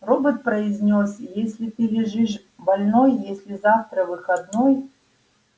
робот произнёс если ты лежишь больной если завтра выходной